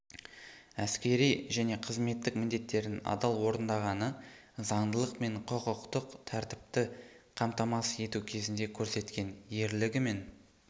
әскери және қызметтік міндеттерін адал орындағаны заңдылық пен құқықтық тәртіпті қамтамасыз ету кезінде көрсеткен ерлігі мен